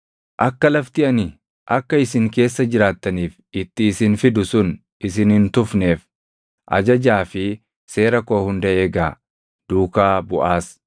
“ ‘Akka lafti ani akka isin keessa jiraattaniif itti isin fidu sun isin hin tufneef ajajaa fi seera koo hunda eegaa; duukaa buʼaas.